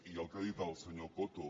i el que ha dit el senyor coto